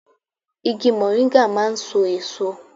Igi mọ̀ríńgà máà ń so èso